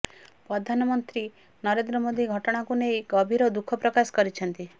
ପ୍ରଧାନମନ୍ତ୍ରୀ ନରେନ୍ଦ୍ର ମୋଦି ଘଟଣାକୁ ନେଇ ଗଭୀର ଦୁଃଖ ପ୍ରକାଶ କରିଛନ୍ତି